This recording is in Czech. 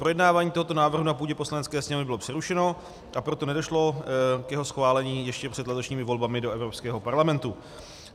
Projednávání tohoto návrhu na půdě Poslanecké sněmovny bylo přerušeno, a proto nedošlo k jeho schválení ještě před letošními volbami do Evropského parlamentu.